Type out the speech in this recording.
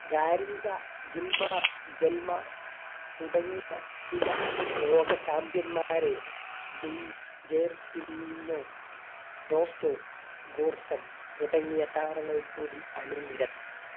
ഗാരിന്റ ഗിൽമാർ ജെൾമാ തുടങ്ങിയ ചില ലോക champion മാരെ തുടങ്ങിയ താരങ്ങൾ കൂടി അണിനി